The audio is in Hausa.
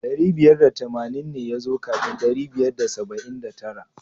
Dari biyar da tamanin ne ya zo kafin ɗari biyar da saba'in da tara.